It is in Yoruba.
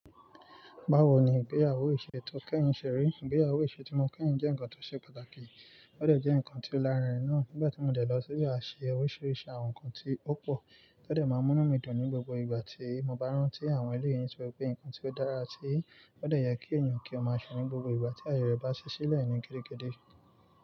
Báwo ni ìgbéyàwó isẹ tó kẹ́yìn se ri? Ìgbéyàwó iṣẹ́ tí mo kẹ́yìn jẹ́ nǹkan tó ṣe pàtàkì, ó de jẹ́ nǹkan tí ó lárinrin náà. Nígbà tí mo dẹ lọ síbẹ̀ a ṣe oríṣiríṣi àwọn nǹkan tí ó pò, ó de máa n mú inu mi dùn ní gbogbo ìgbà tí mo bá rántí àwọn eléyìí nitori wípé nǹkan tí ó dára tí ó de yẹ kí èeyàn kí ọ ma se won ní gbogbo ìgbà tí aye rẹ̀ bá ṣí sílẹ̀ ní gedegede.